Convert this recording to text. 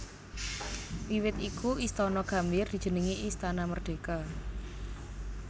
Wiwit iku Istana Gambir dijenengi Istana Merdeka